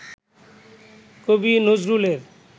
কবি নজরুলের